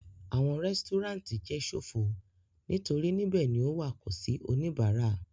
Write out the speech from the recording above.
Awọn resturant jẹ sofo nitori nibẹ ni o wa ko si onibara